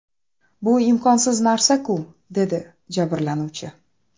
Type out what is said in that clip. Bu imkonsiz narsa-ku?” dedi jabrlanuvchi.